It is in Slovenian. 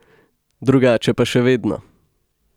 Drugače pa še vedno.